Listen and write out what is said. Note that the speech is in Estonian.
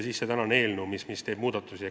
... see eelnõu, millega tehakse muudatusi.